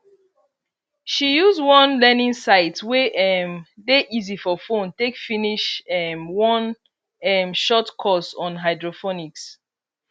she use one learning site wey um dey easy for phone take finish um one um short course on hydroponics